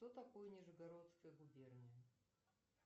что такое нижегородская губерния